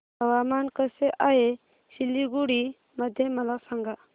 हवामान कसे आहे सिलीगुडी मध्ये मला सांगा